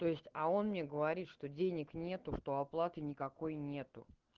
т о есть а он мне говорит что денег нету что оплаты никакой нету